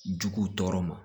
Jugu tɔɔrɔ ma